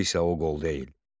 Qol isə o qol deyil.